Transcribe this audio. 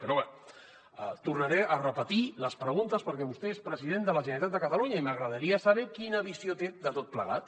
però bé tornaré a repetir les preguntes perquè vostè és president de la generalitat de catalunya i m’agradaria saber quina visió té de tot plegat